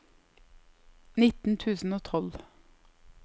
nitten tusen og tolv